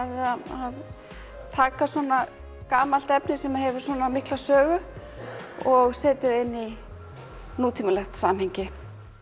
að taka svona gamalt efni sem hefur svona mikla sögu og setja það inn í nútímalegt samhengi